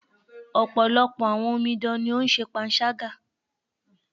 Ọ̀pọ̀lọpọ̀ àwọn omidan ní o ń ṣe panṣágà.